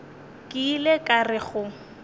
ke ile ka re go